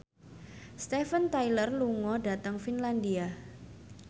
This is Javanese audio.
Steven Tyler lunga dhateng Finlandia